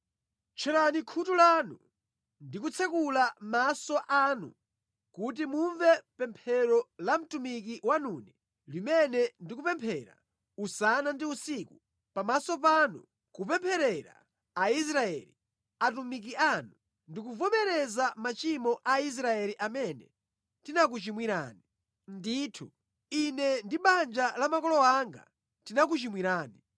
Tcherani khutu lanu ndi kutsekula maso anu kuti mumve pemphero la mtumiki wanune limene ndikupemphera usana ndi usiku pamaso panu kupempherera Aisraeli, atumiki anu. Ndikuvomereza machimo a Aisraeli amene tinakuchimwirani. Ndithu, ine ndi banja la makolo anga tinakuchimwirani.